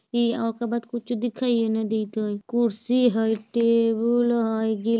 ओकरे बाद कुछु दिखाई ही न दित हइ कुर्सी हइ टेबुल हइ गल--